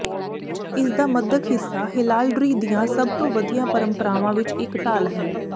ਇਸਦਾ ਮੱਧਕ ਹਿੱਸਾ ਹੈਲਾਲਡਰੀ ਦੀਆਂ ਸਭ ਤੋਂ ਵਧੀਆ ਪਰੰਪਰਾਵਾਂ ਵਿੱਚ ਇੱਕ ਢਾਲ ਹੈ